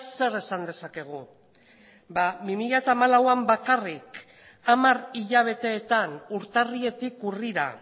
zer esan dezakegu ba bi mila hamalauan bakarrik hamar hilabeteetan urtarriletik urrira